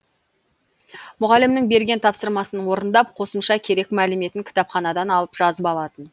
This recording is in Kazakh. мұғалімнің берген тапсырмасын орындап қосымша керек мәліметін кітапханадан алып жазып алатын